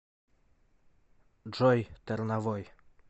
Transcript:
джой тэрновой